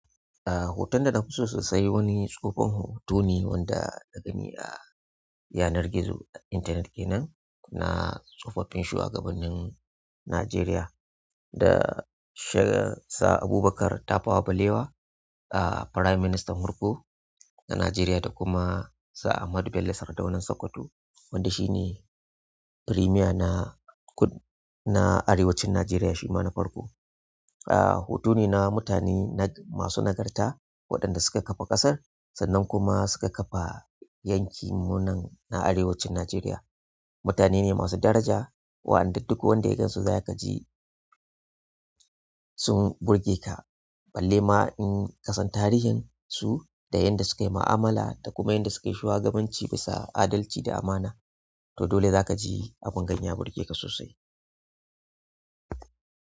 Ah, hoton da nafiso sosai wani tsohon hotone da na gani a yanar gizo internet ɗina. Na tsofaffin shugabannin Najeriya da Sir Abubakar Tafawa Balewa, ah, farai ministan farko a Najeriya da kuma Sir Ahmadu Bello Sardaunan Sokoto wanda shi ne premier na kud-- na Arewacin Najeriya shi ma na farko. Ah, hoto ne na mutane nag-- masu nagarta waɗanda suka ƙafa ƙasar sannan kuma suka ƙafa yankin mu nan na Arewacin Najeriya. Mutane ne masu daraja waɗanda duk wanda ya gansu za ka ji sun burge ka. Balle ma in ka san tarihin su da yadda suka yi ma'amala da kuma yadda suka yi shugabanci bisa adalci da amana, to dole za ka ji abin ya burge ka sosai.